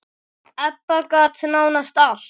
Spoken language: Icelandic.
Ebba gat nánast allt.